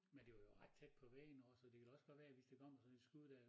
Men det var jo ret tæt på væggen også så det kan da også godt være hvis der kommer sådan et skud dér